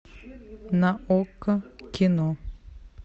на окко кино